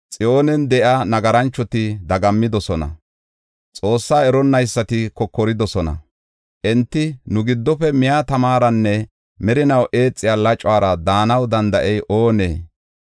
Xiyoonen de7iya nagaranchoti dagammidosona; Xoossaa eronnaysati kokoridosona. Enti, “Nu giddofe miya tamaranne merinaw eexiya lacuwara daanaw danda7ey oonee?”